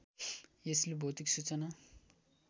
यसले भौतिक सूचना